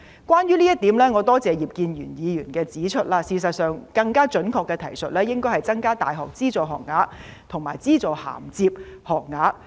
關於這一點，我多謝葉建源議員指出，事實上，更加準確的提述應該是，"增加大學資助學額和資助銜接學額"。